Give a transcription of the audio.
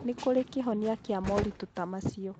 Nĩ kũrĩ kĩhonia kĩa moritũ ta macio.